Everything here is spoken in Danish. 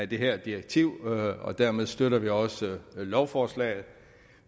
det her direktiv og dermed støtter vi også lovforslaget